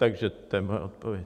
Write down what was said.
Takže to je moje odpověď.